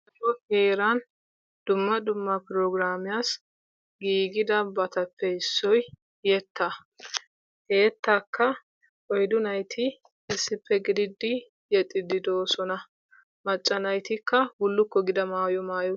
so heeran dumma dumma prograamiyaassi gigidaabatappe issoy yettaa. he yettaa oyddu naatta issippe giididi yexxidi de'oosona. macca naatikka bulukko gida mayuwaa maayi.